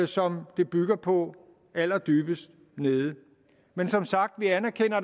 som det bygger på allerdybest nede men som sagt anerkender